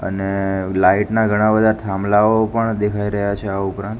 અને લાઇટ ના ઘણા બધા થાંભલાઓ પણ દેખાઈ રહ્યા છે આ ઉપરાંત.